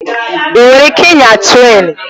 Ị nwere ike ịnya trén?